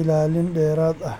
ilaalin dheeraad ah.